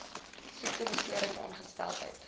siekte besering ongeskiktheid